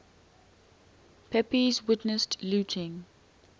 pepys witnessed looting